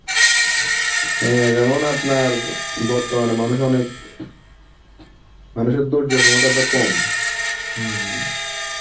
হ্যা যেমন আপনার বর্তমানে মানুষ অনেক মানুষের ধৈর্যের ক্ষমতাটা কম.